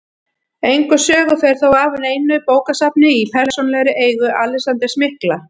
Engum sögum fer þó af neinu bókasafni í persónulegri eigu Alexanders mikla.